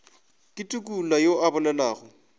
ke tukula yo a bolelago